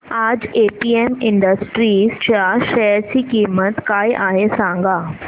आज APM industries च्या share ची किंमत काय आहे सांगा